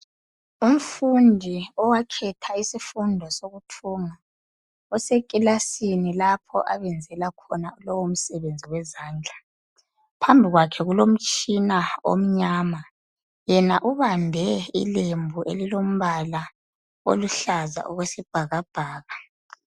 Umfundi owakhetha isifundo sokuthunga usekilasini lapho abenzela khona lowo msebenzi wezandla . Phambi kwakhe kulomtshina omnyama .Yena ubambe ilembu elilombala oluhlaza okwesibhakabhaka.